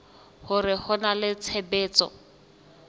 hore ho na le tshebetso